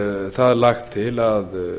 það lagt til að